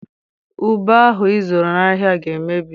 Ube ahụ ị zụrụ n'ahịa ga-emebi.